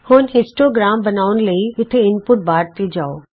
ਹੁਣ ਹਿਸਟੋਗ੍ਰਾਮ ਬਣਾਉਣ ਲਈ ਇਥੇ ਇਨਪੁਟ ਬਾਰ ਤੇ ਜਾਉ